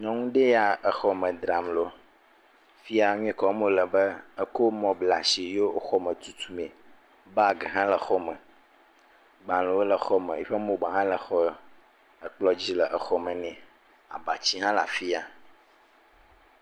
Nyɔnu ɖe ya exɔ me dzram ɖo. Fifia nu yike wɔm wole nye be ekɔ mɔ kɔ bla asi ye wò xɔme tutum me. Bagi hã le xɔme. Gbalẽ wole hã xɔ me. Eƒe mobile hã le kplɔ dzi le xɔme ne. Abatsi hã le afiya.